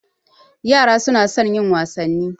Yara suna son yin wasanni.